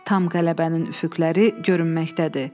Tam qələbənin üfüqləri görünməkdədir.